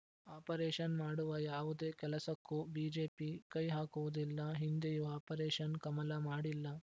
operation ಮಾಡುವ ಯಾವುದೇ ಕೆಲಸಕ್ಕೂ ಬಿಜೆಪಿ ಕೈ ಹಾಕುವುದಿಲ್ಲ ಹಿಂದೆಯೂ ಆಪರೇಷನ್‌ ಕಮಲ ಮಾಡಿಲ್ಲ